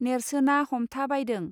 नेर्सोनाहमथा बायदों